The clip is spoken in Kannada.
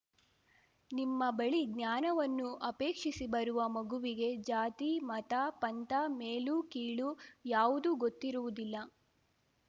ನಿಮ್ಮ ಬಳಿ ಜ್ಞಾನವನ್ನು ಅಪೇಕ್ಷಿಸಿ ಬರುವ ಮಗುವಿಗೆ ಜಾತಿಮತ ಪಂಥ ಮೇಲುಕೀಳು ಯಾವುದೂ ಗೊತ್ತಿರುವುದಿಲ್ಲ